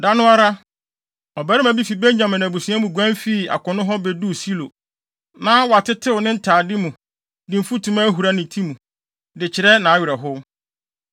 Da no ara, ɔbarima bi fi Benyamin abusua mu guan fii akono hɔ beduu Silo. Na watetew ne ntade mu, de mfutuma ahura ne ti mu, de kyerɛ nʼawerɛhow.